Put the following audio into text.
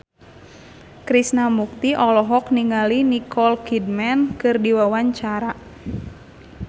Krishna Mukti olohok ningali Nicole Kidman keur diwawancara